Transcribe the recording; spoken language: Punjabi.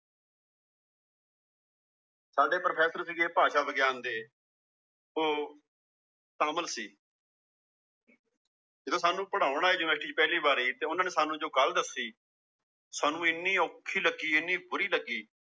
ਸਾਡੇ ਪ੍ਰੋਫੈਸਰ ਸੀਗੇ ਭਾਸ਼ਾ ਵਿਗਿਆਨ ਦੇ ਉਹ ਤਾਮਿਲ ਸੀ ਜਦੋਂ ਸਾਨੂੰ ਪੜ੍ਹਾਉਣ ਆਏ ਯੂਨੀਵਰਸਟੀ ਚ ਪਹਿਲੀ ਵਾਰੀ ਤੇ ਉਹਨਾਂ ਨੇ ਸਾਨੂੰ ਜੋ ਗੱਲ ਦੱਸੀ ਸਾਨੂੰ ਇੰਨੀ ਔਖੀ ਲੱਗੀ ਇੰਨੀ ਬੁਰੀ ਲੱਗੀ